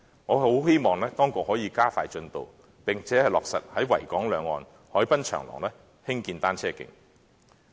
我很希望當局可以加快進度，並落實在維港兩岸海濱長廊興建單車徑。